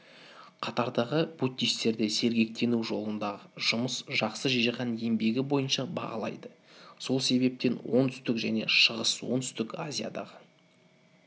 қатардағы буддистерді сергектену жолындағы жұмыс жақсы жиған еңбегі бойынша бағалайды сол себептен оңтүстік және шығыс-оңтүстік азиядағы